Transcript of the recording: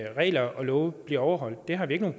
regler og love bliver overholdt det har vi ikke noget